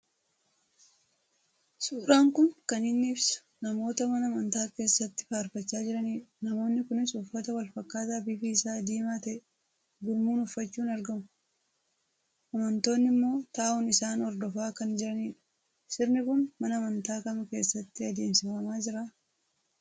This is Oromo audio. Suuraan kun kan inni ibsu namoota mana amantaa keessatti faarfachaa jirani dha. Namoonni Kunis uffata walfakkaataa bifi isaa diimaa ta'e gurmuun uffachuun argamuu. Amantoonni immoo taa'uun isaan hordofaa kan jirani dha. Sirni kun mana amantaa Kam keessatti adeemsifamaa jiraa ?